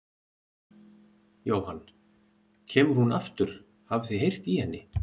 Jóhann: Kemur hún aftur, hafið þið heyrt í henni?